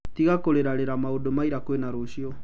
Tiga kũrĩra rĩra maũndũ ma ira kwĩna rũcio.